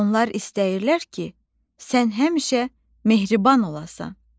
Onlar istəyirlər ki, sən həmişə mehriban olasan.